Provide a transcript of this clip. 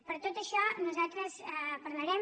per tot això nosaltres parlarem